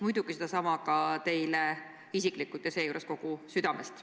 Muidugi soovin sedasama ka teile isiklikult, seejuures kogu südamest.